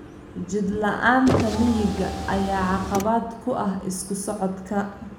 Jid la'aanta miyiga ayaa caqabad ku ah isu socodka.